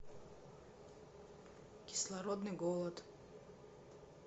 кислородный голод